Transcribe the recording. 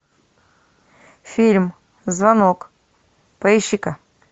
фильм звонок поищи ка